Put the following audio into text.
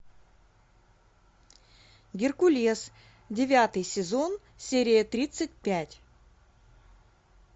геркулес девятый сезон серия тридцать пять